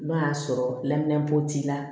N'o y'a sɔrɔ laminɛnbo t'i la